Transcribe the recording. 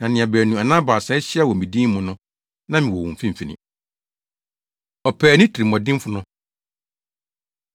Na nea baanu anaa baasa ahyia wɔ me din mu no, na mewɔ wɔn mfimfini.” Ɔpaani Tirimuɔdenfo No